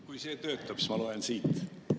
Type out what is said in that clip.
Kui see töötab, siis ma loen siit.